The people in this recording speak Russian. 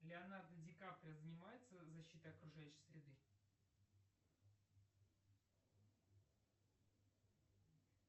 леонардо ди каприо занимается защитой окружающей среды